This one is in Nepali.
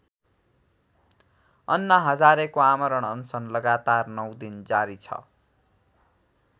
अन्ना हजारेको आमरण अनशन लगातार ९ दिन जारी छ।